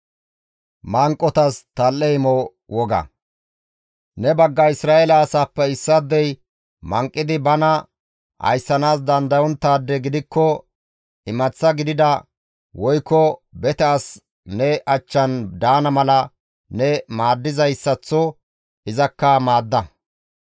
« ‹Ne bagga Isra7eele asaappe issaadey manqidi bana ayssanaas dandayonttaade gidikko imaththa gidida woykko bete asi ne achchan daana mala ne maaddizayssaththo izakka maadda.